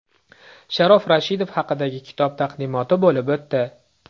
Sharof Rashidov haqidagi kitob taqdimoti bo‘lib o‘tdi .